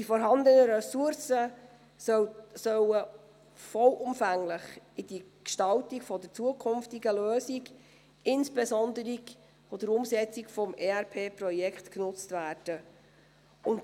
Und die vorhandenen Ressourcen sollen vollumfänglich in die Gestaltung der zukünftigen Lösung, insbesondere bei der Umsetzung des ERP-Projekts genutzt werden.